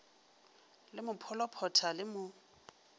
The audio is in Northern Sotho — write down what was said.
le mo pholophotha le mo